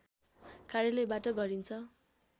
कार्यालयबाट गरिन्छ